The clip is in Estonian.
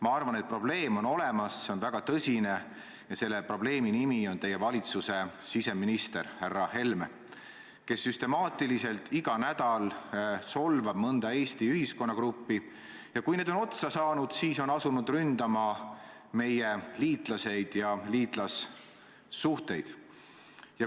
Ma arvan, et probleem on olemas, see on väga tõsine ja selle probleemi nimi on teie valitsuse siseminister härra Helme, kes süstemaatiliselt iga nädal solvab mõnda Eesti ühiskonnagruppi ja kui need on otsa saanud, siis asub ründama meie liitlasi ja liitlassuhteid.